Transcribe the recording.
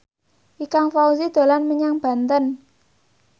Ikang Fawzi dolan menyang Banten